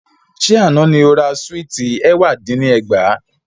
Sẹ́ àná ni o ra Súìtì ẹ̀wá dín ní ẹgbàá?